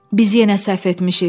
Biz yenə səhv etmişik.